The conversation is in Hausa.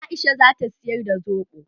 Aisha zata siyar da soɓo.